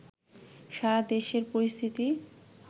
সারা দেশের পরিস্থিতি